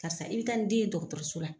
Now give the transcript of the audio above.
Karisa i bɛ taa ni den ye dɔgɔtɔrɔso la